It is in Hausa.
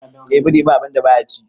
eh biri ba a binda baya ci